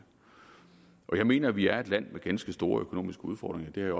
jeg mener vi er et land med ganske store økonomiske udfordringer det